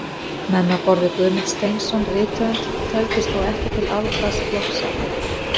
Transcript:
Menn á borð við Guðmund Steinsson rithöfund töldust þá ekki til afmarkaðs flokks snillinganna.